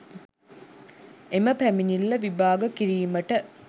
එම පැමිණිල්ල විභාග කිරීමට